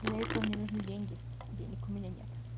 для этого мне нужны деньги денег у меня нет